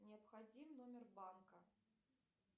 необходим номер банка